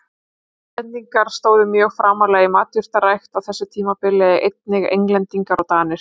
Hollendingar stóðu mjög framarlega í matjurtarækt á þessu tímabili, einnig Englendingar og Danir.